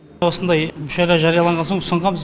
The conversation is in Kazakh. осындай мүшәйра жарияланған соң ұсынғанбыз